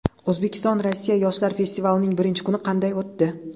O‘zbekiston Rossiya yoshlar festivalining birinchi kuni qanday o‘tdi?